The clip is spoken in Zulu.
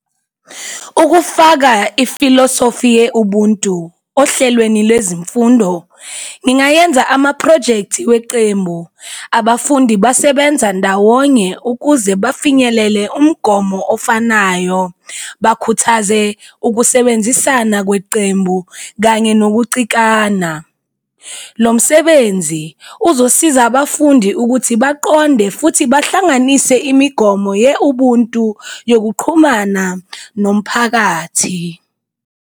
Ukufaka ifilosofi ye-ubuntu ohlelweni lwezimfundo ngingayenza amaphrojekthi wecembu, abafundi basebenza ndawonye ukuze bafinyelele umgomo ofanayo, bakhuthaze ukusebenzisana kwecembu kanye nokucikana. Lo msebenzi uzosiza abafundi ukuthi baqonde futhi bahlanganise imigomo ye-ubuntu yokuqhumana nomphakathi.